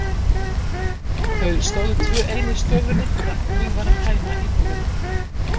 Þau stóðu tvö ein í stofunni þegar búið var að tæma íbúðina.